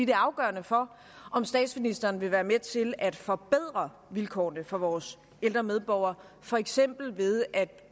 er afgørende for om statsministeren vil være med til at forbedre vilkårene for vores ældre medborgere for eksempel ved at